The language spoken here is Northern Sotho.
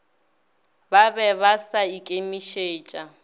ba be ba sa ikemišetša